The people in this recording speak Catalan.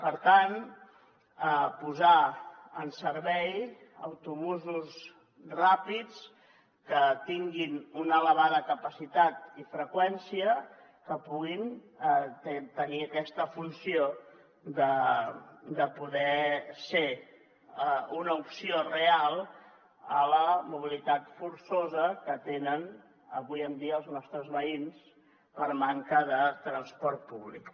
per tant posar en servei autobusos ràpids que tinguin una elevada capacitat i freqüència que puguin tenir aquesta funció de poder ser una opció real a la mobilitat forçosa que tenen avui en dia els nostres veïns per manca de transport públic